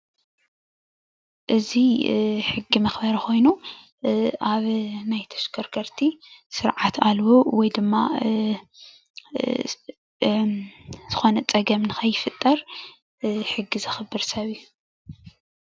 እዚ ሕጊ መክበሪ ኮይኑ ኣብ ናይ ተሽከርከቲ ስርዓት ኣልቦ ወይ ድማ ዝኮነ ፅገም ንከረይፍጠር ሕጊ ዘክብር ሰብ እዩ።